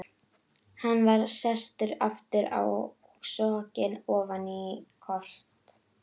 Hann var sestur aftur og sokkinn ofan í kort af